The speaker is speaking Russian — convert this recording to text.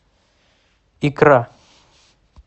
икра